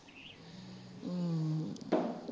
ਹੂ